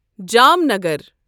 Jamnagar